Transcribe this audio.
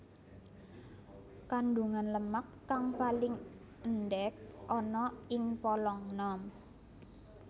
Kandungan lemak kang paling endhék ana ing polong nom